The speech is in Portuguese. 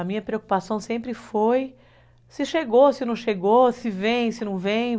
A minha preocupação sempre foi se chegou, se não chegou, se vem, se não vem.